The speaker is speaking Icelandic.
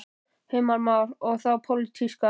Heimir Már: Og þá pólitíska?